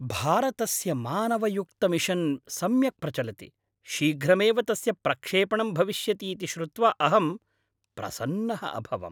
भारतस्य मानवयुक्तमिशन् सम्यक् प्रचलति, शीघ्रमेव तस्य प्रक्षेपणम् भविष्यति इति श्रुत्वा अहं प्रसन्नः अभवम्।